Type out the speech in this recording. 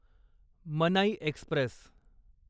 मनाई एक्स्प्रेस